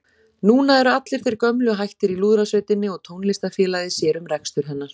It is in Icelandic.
Núna eru allir þeir gömlu hættir í Lúðrasveitinni og Tónlistarfélagið sér um rekstur hennar.